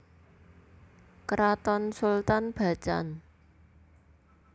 Kraton Sultan Bacan